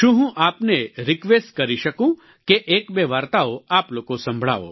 શું હું આપને રિક્વેસ્ટ કરી શકું કે એકબે વાર્તાઓ આપ લોકો સંભળાવો